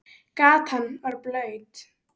Gatan var blaut.